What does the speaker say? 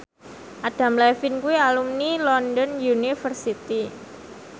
Adam Levine kuwi alumni London University